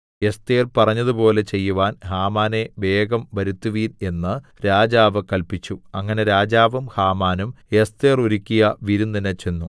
Esther പറഞ്ഞതുപോലെ ചെയ്യുവാൻ ഹാമാനെ വേഗം വരുത്തുവിൻ എന്ന് രാജാവ് കല്പിച്ചു അങ്ങനെ രാജാവും ഹാമാനും എസ്ഥേർ ഒരുക്കിയ വിരുന്നിന് ചെന്നു